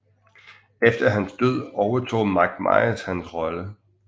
Efter hans død overtog Mike Myers hans rolle